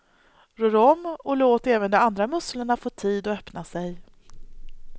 Rör om och låt även de andra musslorna få tid att öppna sig.